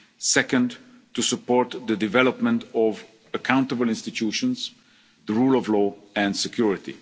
connectivity. Second, to support the development of accountable institutions, the rule of